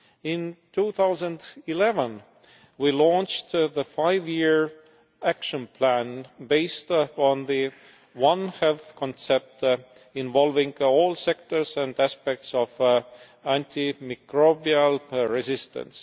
In 2011, we launched the five year Action Plan based on the One Healthʼ concept, involving all sectors and aspects of antimicrobial resistance.